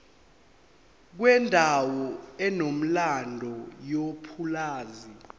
kwendawo enomlando yepulazi